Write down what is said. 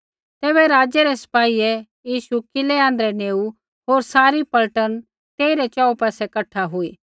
तैबै राज़ै रै सिपाहियै यीशु किलै आँध्रै नेऊ होर सारी पलटन तेइरै च़ोहू पासै कठा हुई